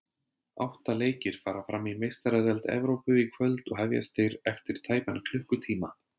Átta leikir fara fram í Meistaradeild Evrópu í kvöld og hefjast þeir eftir tæpan klukkutíma.